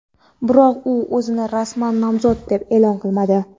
Biroq u o‘zini rasman nomzod deb e’lon qilmadi.